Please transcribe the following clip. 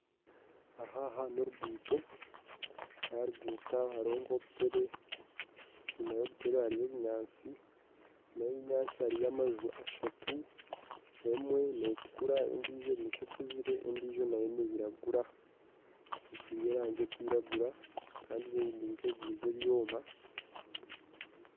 Ahaha norugundo aharugundo ha hariho kobutebe enyima ya obutebe hariyo ebinyatsi enyima ya ebinyatsi hariyo amaju ashatu emwe netukura endiijo erinka ekuzire endiijo nayo neyiragura etiirwe erangi erikwiragura kandi erinka erikuguza ebyoma.